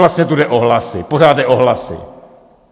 Vlastně tu jde o hlasy, pořád jde o hlasy.